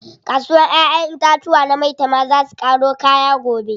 Kasuwar ƴaƴen itatuwa na maitama zaa su ƙaro kaya gobe.